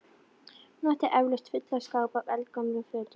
Hún átti eflaust fulla skápa af eldgömlum fötum.